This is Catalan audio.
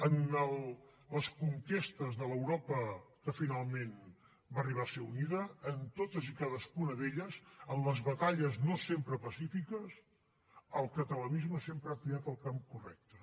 en les conquestes de l’europa que finalment va arribar a ser unida en totes i en cadascuna d’elles en les batalles no sempre pacífiques el catalanisme sempre ha triat el camp correcte